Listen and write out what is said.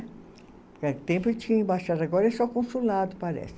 Porque há tempo tinha embaixada, agora é só consulado, parece.